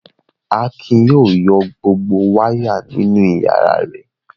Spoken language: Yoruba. Akin yóò yọ gbogbo wáyà nínú ìyàrá rẹ̀.